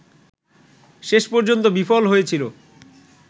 শেষ পর্যন্ত বিফল হয়েছিল